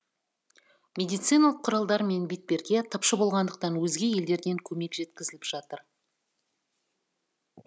медициналық құралдар мен бетперде тапшы болғандықтан өзге елдерден көмек жеткізіліп жатыр